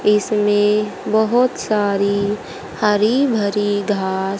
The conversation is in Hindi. इसमें बहुत सारी हरी भरी घास--